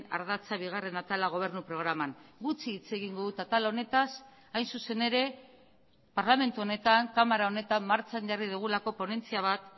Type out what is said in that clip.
ardatza bigarren atala gobernu programan gutxi hitz egingo dut atal honetaz hain zuzen ere parlamentu honetan kamara honetan martxan jarri dugulako ponentzia bat